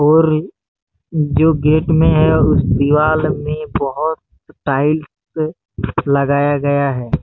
और जो गेट में है उस दीवार में बहुत टाइल्स लगाया गया है।